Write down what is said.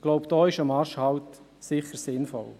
– Ich glaube, hier ist ein Marschhalt sicher sinnvoll.